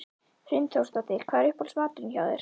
Hrund Þórsdóttir: Hvað er uppáhalds maturinn hjá þér?